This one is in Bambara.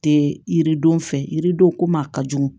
Tɛ yiridenw fɛ yiridenw ko ma ka jugu